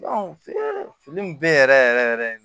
fini be yen yɛrɛ yɛrɛ yɛrɛ yɛrɛ de